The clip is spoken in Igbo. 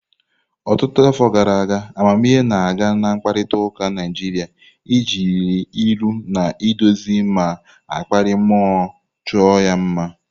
Ọtụtụ afọ gara aga, amamihe na-aga na mkparịta ụka Naịjirịa, ejiri ilu na-eduzi ma na-akpali mmụọ chọọ ya mma.